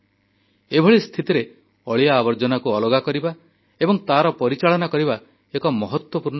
ଏଭଳି ସ୍ଥିତିରେ ଅଳିଆ ଆବର୍ଜନାକୁ ଅଲଗା କରିବା ଏବଂ ତାର ପରିଚାଳନା କରିବା ଏକ ମହତ୍ୱପୂର୍ଣ୍ଣ କାମ